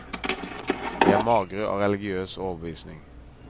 De er magre av religiøs overbevisning.